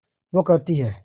वो कहती हैं